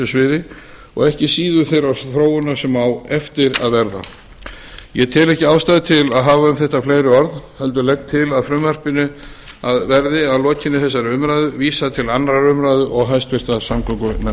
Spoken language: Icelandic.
sviði og ekki síður þeirrar þróunar sem á eftir að verða ég tel ekki ástæðu til að hafa um þetta fleiri orð heldur legg til að frumvarpinu verði að lokinni þessari umræðu vísað til annarrar umræðu og